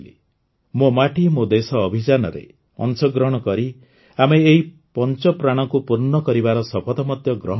ମୋ ମାଟି ମୋ ଦେଶ ଅଭିଯାନରେ ଅଂଶଗ୍ରହଣ କରି ଆମେ ଏଇ ପଞ୍ଚପ୍ରାଣକୁ ପୂର୍ଣ୍ଣ କରିବାର ଶପଥ ମଧ୍ୟ ଗ୍ରହଣ କରିବା